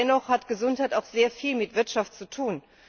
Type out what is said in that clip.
Aber dennoch hat Gesundheit auch sehr viel mit Wirtschaft zu tun.